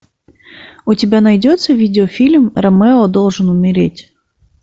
у тебя найдется видеофильм ромео должен умереть